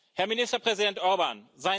Herr Ministerpräsident Orbán!